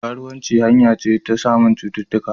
Karuwanci hanya ne ta samun cuttutuka